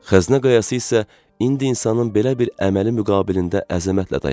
Xəzinə qayası isə indi insanın belə bir əməli müqabilində əzəmətlə dayanmışdı.